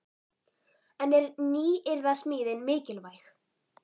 En er nýyrðasmíðin mikilvæg?